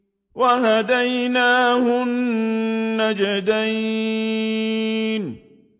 وَهَدَيْنَاهُ النَّجْدَيْنِ